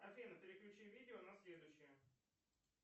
афина переключи видео на следующее